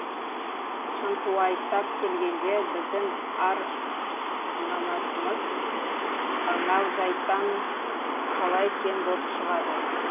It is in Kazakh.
шынтуайттап келгенде біздің ар намасымыз анау жәйттан қалай кем боп шығады